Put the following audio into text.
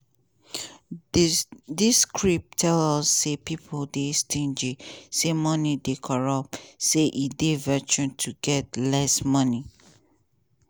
dis script tell us say pipo dey stingy say money dey corruptsay e dey virtue to get less money.